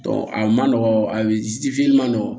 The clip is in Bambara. a man nɔgɔ a man nɔgɔn